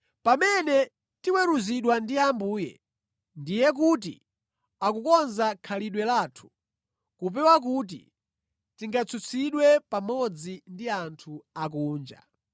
Pamene tiweruzidwa ndi Ambuye, ndiye kuti akukonza khalidwe lathu kupewa kuti tingatsutsidwe pamodzi ndi anthu osakhulupirira.